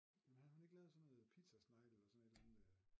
Havde hun ikke lavet sådan noget pizzasnegle eller sådan et eller andet